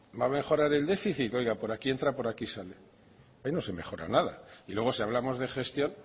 va a mejorar el déficit oiga por aquí entra por aquí sale ahí no se mejora nada y luego si hablamos de gestión